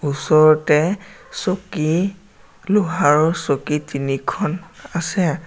ওচৰতে চকী লোহাৰৰ চকী তিনিখন আছে।